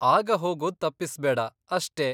ಆಗ ಹೋಗೋದ್ ತಪ್ಪಿಸ್ಬೇಡ ಅಷ್ಟೇ.